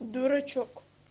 дурачок